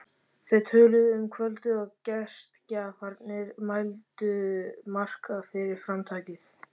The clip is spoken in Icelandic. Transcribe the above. Þau töluðu um kvöldið og gestgjafarnir hældu Mark fyrir framtakið.